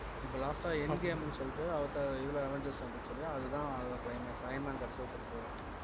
இப்ப last ஆ end game ன்னு சொல்லிட்டு அவதார் இதுல அவென்ஜர்ஸ் வந்துச்சு இல்லையா அதுதான் அதோட climax, I man கடைசில செத்துருவாரு